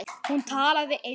Hún talaði eins og